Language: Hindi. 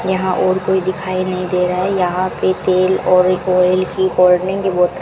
यहां और कोई दिखाई नहीं दे रहा है यहां पे तेल और ऑयल की कोल्ड ड्रिंक की बोतल--